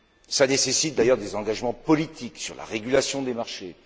Cela nécessite d'ailleurs des engagements politiques sur la régulation des marchés.